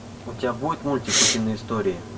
у тебя будет мультик утиные истории